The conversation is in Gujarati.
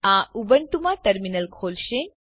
આ ઉબુન્ટુમાં ટર્મીનલને શરૂ કરે છે